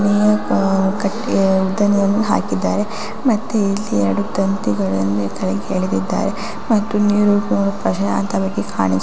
ಆ ಆ ಉದ್ದನೆಯನ್ನು ಹಾಕಿದ್ದಾರೆ ಮತ್ತೆ ಇಲ್ಲಿ ಎರಡು ತಂತಿಗಳನ್ನು ಕೆಳಗೆ ಎಳೆದಿದ್ದಾರೆ ಮತ್ತು ನೀರು ಕೂಡ ಪ್ರಶಾಂತವಾಗಿ ಕಾಣಿಸುತ್ತಿದೆ .